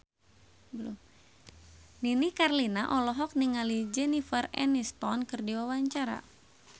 Nini Carlina olohok ningali Jennifer Aniston keur diwawancara